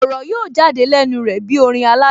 Ọ̀rọ̀ yóò jáde lẹ́nu rẹ̀ bí orin aládùn